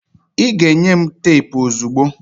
ị ga-enye m teepu m ozugbo!